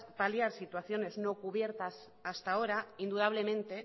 paliar situaciones no cubiertas hasta ahora indudablemente